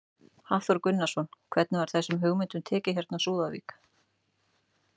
Hafþór Gunnarsson: Hvernig var þessum hugmyndum tekið hérna á Súðavík?